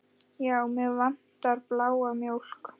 Já, mig vantar bláa mjólk.